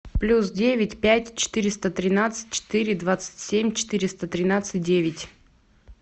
плюс девять пять четыреста тринадцать четыре двадцать семь четыреста тринадцать девять